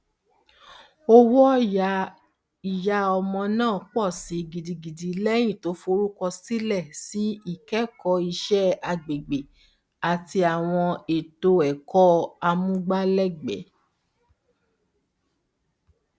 owóòyá ìyá ọmọ naa pọ síi gidigidi lẹyìn tó forúkọsílẹ sí ikẹkọọ iṣẹ agbègbè àti àwọn eto ẹkọ amúgbálẹgbẹ